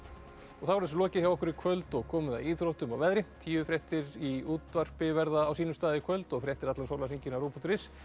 þá er þessu lokið hjá okkur í kvöld og komið að íþróttum og veðri tíufréttir í útvarpi verða á sínum stað í kvöld og fréttir allan sólarhringinn á rúv punktur is